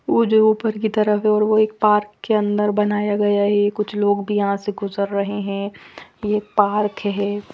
वो जो ऊपर की तरफ है और वो एक पार्क के अन्दर बनाया गया है कुछ लोग भी यहाँ से गुजर रहे हैं ये एक पार्क है।